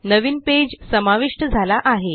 नावीन page समाविष्ट झाला आहे